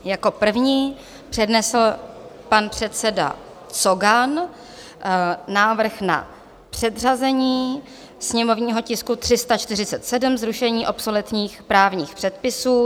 Jako první přednesl pan předseda Cogan návrh na předřazení sněmovního tisku 34, zrušení obsoletních právních předpisů.